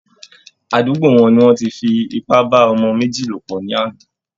Àdúgbo wọn ni wọ́n ti fi ipá bá ọmọ méjì lò pọ̀ lánàá